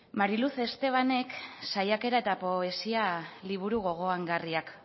mariluz estebanek saiakera eta poesia liburu gogoangarriak